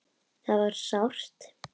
Það var sárt.